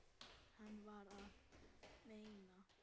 Hvað var hann að meina?